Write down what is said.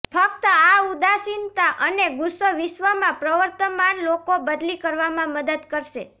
ફક્ત આ ઉદાસીનતા અને ગુસ્સો વિશ્વમાં પ્રવર્તમાન લોકો બદલી કરવામાં મદદ કરશે